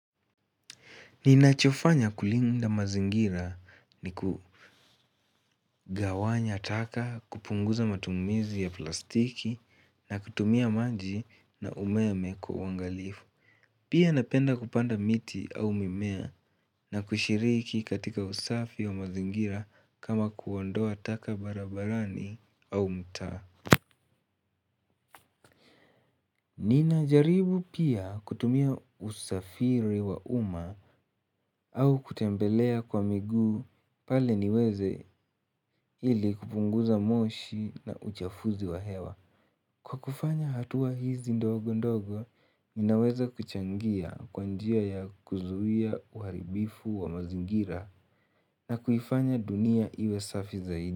Ninachofanya kulinda mazingira ni kugawanya taka kupunguza matumizi ya plastiki na kutumia maji na umeme kwa wangalifu. Pia napenda kupanda miti au mimea na kushiriki katika usafi wa mazingira kama kuondoa taka barabarani au mtaa. Nina jaribu pia kutumia usafiri wa uma au kutembelea kwa miguu pale niweze hili kupunguza moshi na uchafuzi wa hewa. Kwa kufanya hatuwa hizi ndogo ndogo minaweza kuchangia kwa njia ya kuzuia uharibifu wa mazingira na kuifanya dunia iwe safi zaidi.